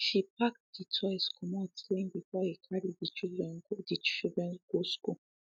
she packed de toys commot clean before him carry de children go de children go school